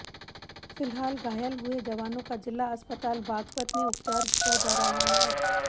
फिलहाल घायल हुए जवानों का जिला अस्पताल बागपत में उपचार किया जा रहा है